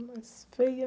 A mais feia...